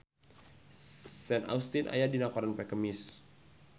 Sean Astin aya dina koran poe Kemis